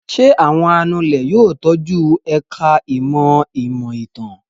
Ṣé àwọn anulẹ̀ yóò tọ́jú ẹ̀ka-ìmọ̀ ìmọ̀-ìtàn?